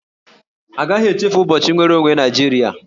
A gaghị echefu ụbọchị nnwere onwe Naịjirịa